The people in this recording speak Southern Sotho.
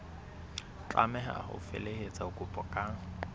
tlameha ho felehetsa kopo ka